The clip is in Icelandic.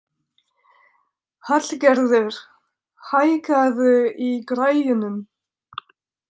Hallgerður, hækkaðu í græjunum.